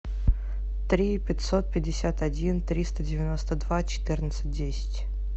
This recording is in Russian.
три пятьсот пятьдесят один триста девяносто два четырнадцать десять